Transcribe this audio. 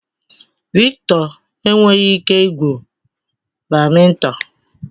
Victor enweghị ike igwu badminton.